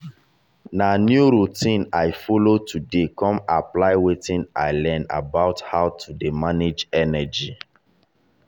na new routine i follow today kon apply wetin i learn about how to dey manage energy.